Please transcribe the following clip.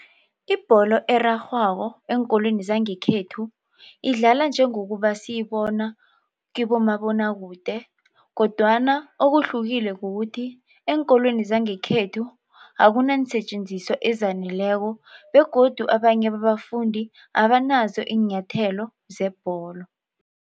Ibholo erarhwako eenkolweni zangekhethu idlala njengokuba siyibona kibomabonwakude kodwana okuhlukile kukuthi eenkolweni zangekhethu akunanseetjenziswa ezaneleko begodu abanye babafundi abanazo iinyathelo zebholo.